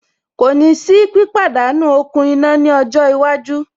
Kò ní sí pípàdánú okùn iná ní ọjọ́ iwájú.